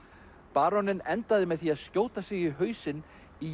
baróninn endaði með því að skjóta sig í hausinn í